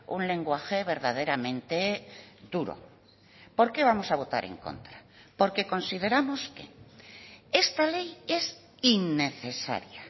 un lenguaje verdaderamente duro por qué vamos a votar en contra porque consideramos que esta ley es innecesaria